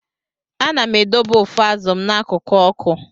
Ana m edobe ụfọ azụ m n'akụkụ ọkụ.